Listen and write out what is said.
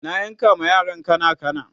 na yanka ma yaran kanakana